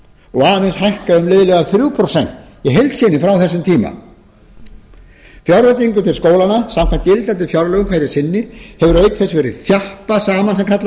og aðeins hækkað um liðlega þrjú prósent frá þessum tíma í heild sinni frá þessum tíma fjárveitingum til skólanna samkvæmt gildandi fjárlögum hverju sinni hefur auk þess verið þjappað saman sem kallað